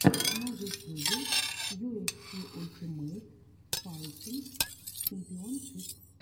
на ютюбе ю эф си ультимейт файтинг чемпионшип